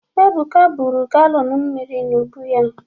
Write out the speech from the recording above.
Ebuka buru galọn mmiri n’ubu ya.